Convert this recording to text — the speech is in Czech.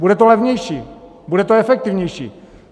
Bude to levnější, bude to efektivnější.